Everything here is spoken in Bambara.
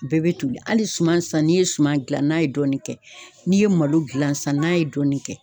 Bɛɛ bɛ toli hali suman sisan, n'i ye suman gilan n'a ye dɔɔni kɛ, n'i ye malo gilan sisan n'a ye dɔɔni kɛ.